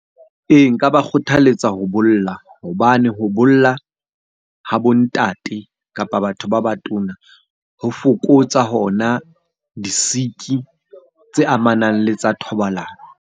Ee, nka ba kgothaletsa ho bolla hobane ho bolla ha bo ntate kapa batho ba batona ho fokotsa hona di-sick-i tse amanang le tsa thobalano.